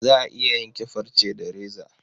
Za a iya yanke farce da reza.